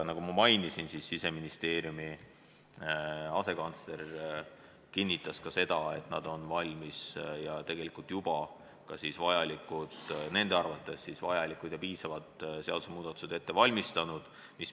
Nagu ma mainisin, Siseministeeriumi asekantsler kinnitas, et nad on nende arvates vajalikud ja piisavad seadusemuudatused juba ette valmistanud.